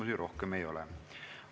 Teile rohkem küsimusi ei ole.